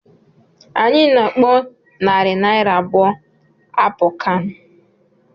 Anyị na-akpọ narị naira abụọ àpọ kán